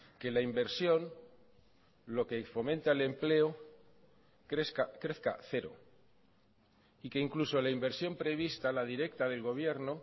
que la inversión lo que fomenta el empleo crezca cero y que incluso la inversión prevista la directa del gobierno